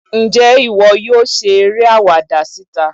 njẹ iwọ yọọ ṣe eré awáda sitá?